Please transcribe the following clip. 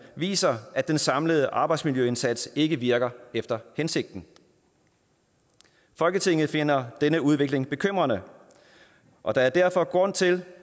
viser at den samlede arbejdsmiljøindsats ikke virker efter hensigten folketinget finder denne udvikling bekymrende og der er derfor grund til